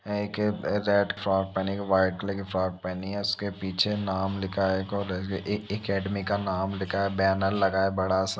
एक red frock पहनी है। एक वाइट कलर की फ्रॉक पहनी है उसके पीछे नाम लिखा है कॉलेज का एक अकैडमी का नाम लिखा है। बैनर लगा है बड़ा सा।